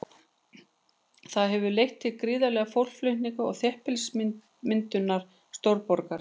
Það hefur leitt til gríðarlegra fólksflutninga og þéttbýlismyndunar stórborga.